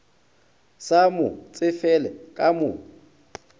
sa mo tsefele ka mo